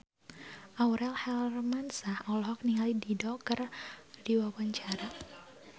Aurel Hermansyah olohok ningali Dido keur diwawancara